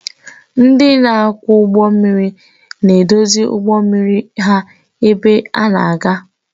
Ndị na-akwọ ụgbọ mmiri na-eduzi ụgbọ mmiri ebe ha na-aga.